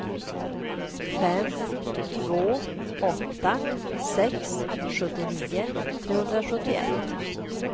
fem två åtta sex sjuttionio trehundrasjuttioett